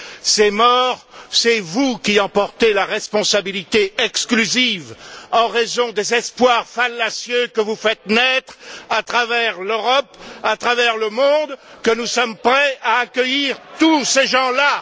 Ces morts, c'est vous qui en portez la responsabilité exclusive en raison des espoirs fallacieux que vous faites naître à travers l'Europe, à travers le monde, que nous sommes prêts à accueillir tous ces gens là.